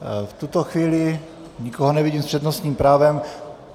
V tuto chvíli nikoho nevidím s přednostním právem.